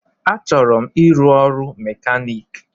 Achọrọ m ịrụ ọrụ mekanik